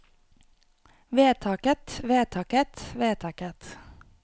vedtaket vedtaket vedtaket